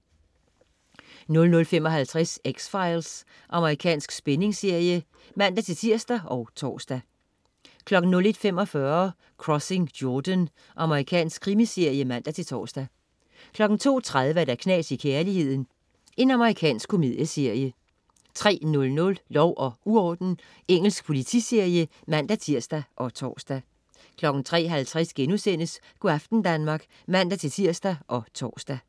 00.55 X-Files. Amerikansk spændingsserie (man-tirs og tors) 01.45 Crossing Jordan. Amerikansk krimiserie (man-tors) 02.30 Knas i kærligheden. Amerikansk komedieserie 03.00 Lov og uorden. Engelsk politiserie (man-tirs og tors) 03.50 Go' aften Danmark* (man-tirs og tors)